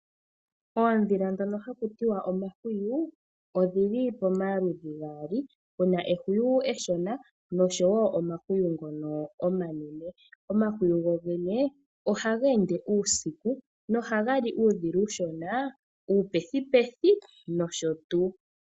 Oondhila ndhono hakuti wa omahwiyu odhili pamaludhi gaali, pu na ehwiyu eshona nosho wo omahwiyu ngono omaenene. Omahwiyu go gene ohaga ende uusiku nohaga li uudhila uushona, uupethipethi nosho tuu.